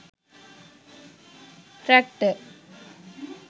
traktor